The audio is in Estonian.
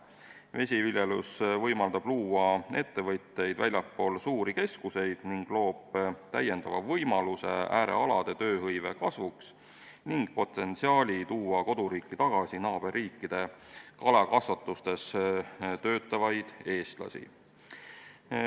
Vesiviljelus võimaldab luua ettevõtteid väljaspool suuri keskuseid, loob lisavõimaluse äärealade tööhõive kasvuks ning tekitab potentsiaali tuua koduriiki tagasi naaberriikide kalakasvatustes töötavaid eestlasi.